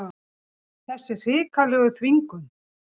Þessa hrikalegu þvingun.